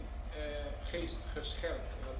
U hebt mijn geest gescherpt.